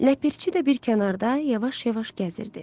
Ləpirçi də bir kənarda yavaş-yavaş gəzirdi.